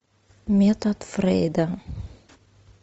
метод фрейда